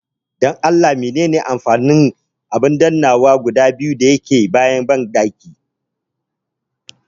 Dan Allah menene amfanin abin dannawa guda biyu da ke kan abin tsugunawa na cikin banɗaki